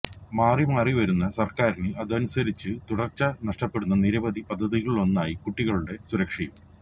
മാറിമാറിവരുന്ന സര്ക്കാരിന് അനുസരിച്ച് തുടര്ച്ച നഷ്ടപ്പെടുന്ന നിരവധി പദ്ധതികളിലൊന്നായി കുട്ടികളുടെ സുരക്ഷയും